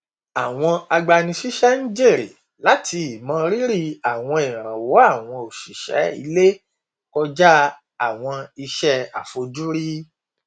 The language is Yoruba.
àwọn agbanisíṣẹ n jèrè láti ìmọ rírì àwọn ìrànwọ àwọn òṣìṣẹ ilé kọjá àwọn iṣẹ àfojúrí